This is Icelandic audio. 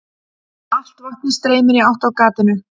Allt vatnið streymir í átt að gatinu.